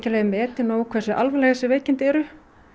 metið nóg hversu alvegleg þessi veikindi eru